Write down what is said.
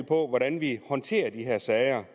på hvordan vi håndterer de her sager